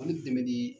An bɛ dɛmɛ ni